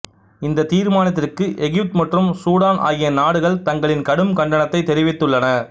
இந்தத் தீர்மானத்திற்கு எகிப்து மற்றும் சூடான் ஆகிய நாடுகள் தங்களின் கடும் கண்டனத்தைத் தெரிவித்துள்ளன